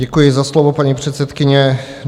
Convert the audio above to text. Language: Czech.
Děkuji za slovo, paní předsedkyně.